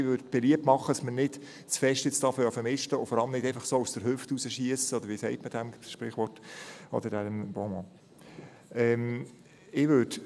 Ich mache beliebt, dass wir jetzt nicht zu sehr ausmisten, und vor allem nicht einfach so aus der Hüfte schiessen, oder wie dieses Sprichwort oder Bonmot heisst.